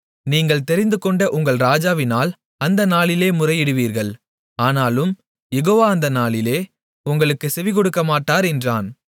நீங்கள் தெரிந்துகொண்ட உங்கள் ராஜாவினால் அந்த நாளிலே முறையிடுவீர்கள் ஆனாலும் யெகோவா அந்த நாளிலே உங்களுக்குச் செவிகொடுக்கமாட்டார் என்றான்